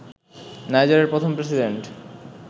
নাইজারের প্রথম প্রেসিডেন্ট